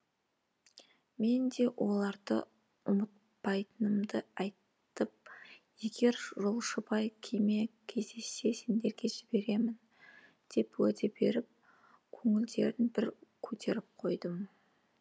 мен де оларды ұмытпайтынымды айтып егер жолшыбай кеме кездессе сендерге жіберемін деп уәде беріп көңілдерін бір көтеріп қойдым